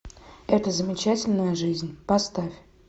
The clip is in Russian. эта замечательная жизнь поставь